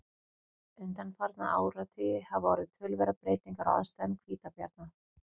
undanfarna áratugi hafa orðið töluverðar breytingar á aðstæðum hvítabjarna